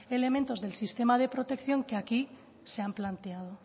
elementos del sistema de protección que aquí se han planteado